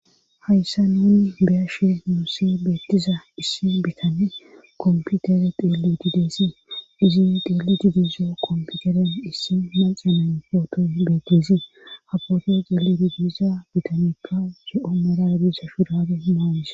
hayssa nuni beashe muusi beettiza issi bitane komputere deeli dideessi izi deeli dudizo komputeren issi manxemen footo beettizi hapote xeeli di gidiza bitanekka ge7o maraebisa shuradu hmawise